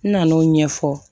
N nana n'o ɲɛfɔ